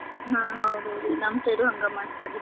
ಹಾ ಹೌದ ಹೌದ್ರಿ ನಮ್ side ಡು ಹಂಗ ಮಾಡ್ತಾರೀ.